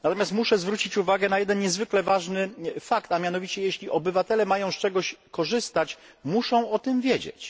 Natomiast muszę zwrócić uwagę na jeden niezwykle ważny fakt jeśli obywatele mają z czegoś korzystać, muszą o tym wiedzieć.